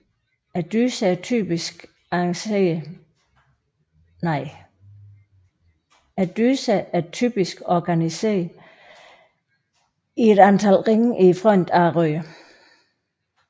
Dyserne er typisk organiseret i et antal ringe i fronten af røret